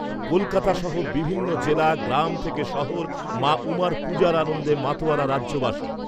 কলকাতাসহ বিভিন্ন জেলা, গ্রাম থেকে শহর মা উমার পুজোর আনন্দে মাতোয়ারা রাজ্যবাসী।